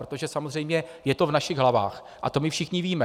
Protože samozřejmě je to v našich hlavách a to my všichni víme.